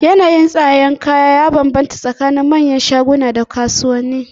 Yanayin tsadar kaya ya banbanta tsakanin manyan shaguna da kasuwanni.